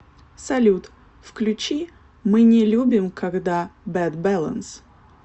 салют включи мы не любим когда бэд бэлэнс